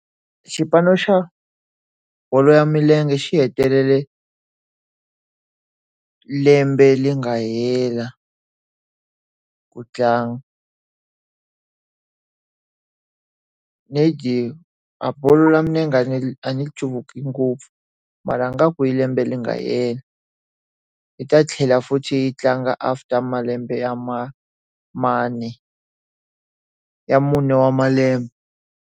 Xipano xa bolo ya milenge xi hetelele le lembe leri nga hela ku tlanga. A bolo ya milenge ni a ri cuvuki ngopfu mara ingaku i lembe leri nga hela. Yi ta tlhela futhi yi tlanga after malembe ya Manne, ya mune wa malembe.